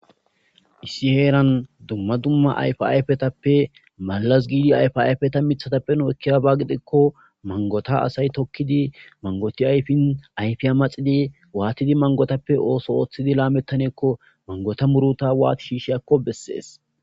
issi heeran dumma dumma ayf ayfetappe malas giidi ayfayfeta mithatappeno ekkiyabaagidekko mangota asay tokkidi mangoti ayfin ayfiya maxidi waatidi mangotappe ooso ooththidi laamettaneekko mangota muruta waati shiishiyakko bessees